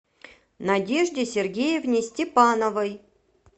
надежде сергеевне степановой